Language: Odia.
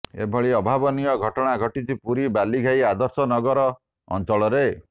ଏଭଳି ଅଭାବନୀୟ ଘଟଣା ଘଟିଛି ପୁରୀ ବାଲିଘାଇ ଆଦର୍ଶ ନଗର ଅଞ୍ଚଳରେ